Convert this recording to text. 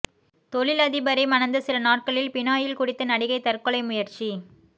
தொழிலதிபரை மணந்த சில நாட்களில் பினாயில் குடித்து நடிகை தற்கொலை முயற்சி